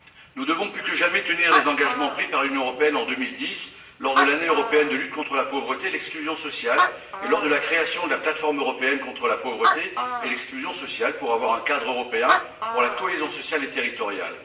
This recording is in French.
Nous devons, plus que jamais, tenir les engagements pris par l'Union européenne en 2010 lors de l'Année européenne de lutte contre la pauvreté et l'exclusion sociale et lors de la création de la plateforme européenne contre la pauvreté et l'exclusion sociale pour avoir un cadre européen pour la cohésion sociale et territoriale.